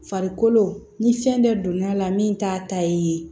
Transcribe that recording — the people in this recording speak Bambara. Farikolo ni fɛn dɔ donna la min t'a ta ye